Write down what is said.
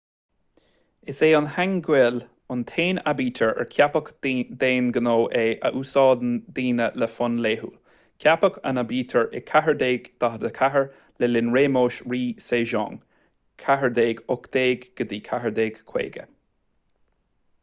is é hangeul an t-aon aibítir ar ceapadh d'aon ghnó é a úsáideann daoine le fonn laethúil. ceapadh an aibítir i 1444 le linn réimeas rí sejong 1418 – 1450